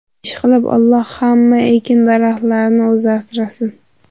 Ishqilib Alloh hamma ekin-daraxtlarni o‘zi asrasin.